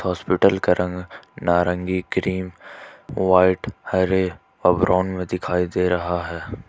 Hospital का रंग नारंगी क्रीम व्हाइट हरे अ ब्राउन में दिखाई दे रहा है।